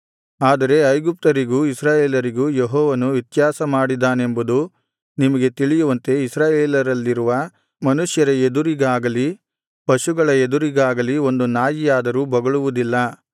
ಆದರೆ ಐಗುಪ್ತ್ಯರಿಗೂ ಇಸ್ರಾಯೇಲರಿಗೂ ಯೆಹೋವನು ವ್ಯತ್ಯಾಸಮಾಡಿದ್ದಾನೆಂಬುದು ನಿಮಗೆ ತಿಳಿಯುವಂತೆ ಇಸ್ರಾಯೇಲರಲ್ಲಿರುವ ಮನುಷ್ಯರ ಎದುರಿಗಾಗಲಿ ಪಶುಗಳ ಎದುರಿಗಾಗಲಿ ಒಂದು ನಾಯಿಯಾದರೂ ಬೊಗಳುವುದಿಲ್ಲ